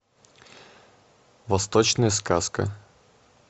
восточная сказка